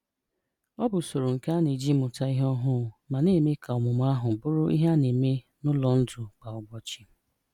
Ọ̀ bụ̀ ụ̀sọ̀rò nke a na-eji mụtà ihe ọhụụ́ ma na-èmè ka ọ̀mụ̀mụ̀ ahụ̀ bụrụ̀ ihe a na-èmè n’ụ́lọ̀ ndụ̀ kwa ụbọchị.